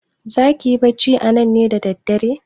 Zaki yi bacci anan ne da dare?